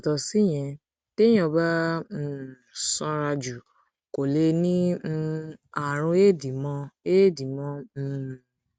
yàtọ síyẹn téèyàn bá um sanra jù kò lè ní um àrùn éèdì mọ éèdì mọ um